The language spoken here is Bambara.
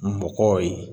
Mɔgɔw ye